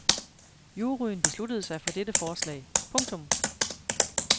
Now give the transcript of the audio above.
Juryen besluttede sig for dette forslag. punktum